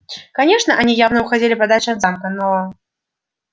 конечно они явно уходили подальше от замка но